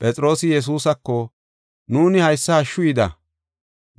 Phexroosi Yesuusako, “Nuuni haysa hashshu yida.